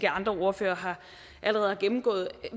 andre ordførere allerede har gennemgået